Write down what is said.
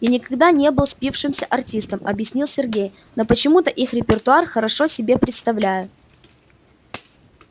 я никогда не был спившимся артистом объяснил сергей но почему-то их репертуар хорошо себе представляю